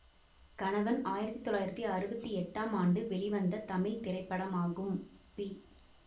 கணவன் ஆயிரத்தி தொள்ளாயிரத்தி அறுபத்தி எட்டாம் ஆண்டு வெளிவந்த தமிழ் திரைப்படமாகும் பி